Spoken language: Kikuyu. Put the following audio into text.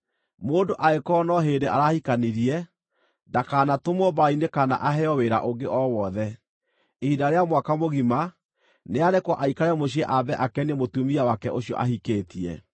Mũndũ angĩkorwo no hĩndĩ arahikanirie, ndakanatũmwo mbaara-inĩ kana aheo wĩra ũngĩ o wothe. Ihinda rĩa mwaka mũgima, nĩarekwo aikare mũciĩ ambe akenie mũtumia wake ũcio ahikĩtie.